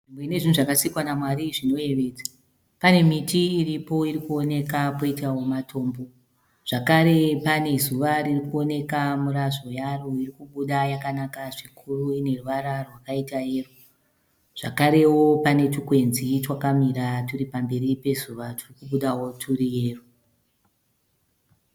Nzvimbo ine zvinhu zvakasikawa naMwari zvinoyevedza. Pane miti iripo iri kuoneka poitawo matombo, zvakare pane zuva riri kuoneka mirazvo yaro iri kubuda yakanaka zvikuru ine ruvara rwakaita yero zvakarewo pane twukwenzi twakamira twuri pamberi pezuva twuri kubudawo twuri yero.